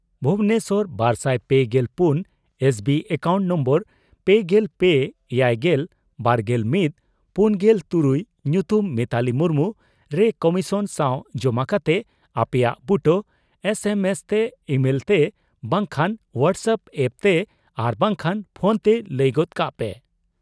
ᱵᱷᱩᱵᱚᱱᱮᱥᱚᱨ ᱵᱟᱨᱥᱟᱭ ᱯᱮᱜᱮᱞ ᱯᱩᱱ ᱮᱥ ᱵᱤ ᱮᱠᱟᱣᱩᱱᱴ ᱱᱳᱢᱵᱚᱨ ᱯᱮᱜᱮᱞ ᱯᱮ ,ᱮᱭᱟᱭᱜᱮᱞ ,ᱵᱟᱨᱜᱮᱞ ᱢᱤᱛ ,ᱯᱩᱱᱜᱮᱞ ᱛᱩᱨᱩᱭ ᱧᱩᱛᱩᱢ ᱢᱤᱛᱟᱞᱤ ᱢᱩᱨᱢᱩ ) ᱨᱮ ᱠᱚᱢᱤᱥᱚᱱ ᱥᱟᱣ ᱡᱚᱢᱟ ᱠᱟᱛᱮ ᱟᱯᱮᱭᱟᱜ ᱵᱩᱴᱟᱹ ᱮᱥ ᱮᱢ ᱮᱥ ᱛᱮ ,ᱤᱢᱟᱹᱞ ᱛᱮ ,ᱵᱟᱝᱠᱷᱟᱱ ᱦᱚᱣᱟᱴᱥ ᱮᱯᱯ ᱛᱮ ᱟᱨ ᱵᱟᱝᱠᱷᱟᱱ ᱯᱷᱚᱱᱛᱮ ᱞᱟᱹᱭ ᱜᱚᱫ ᱠᱟᱜ ᱯᱮ ᱾